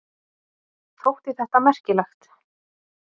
Þótti þetta merkilegt.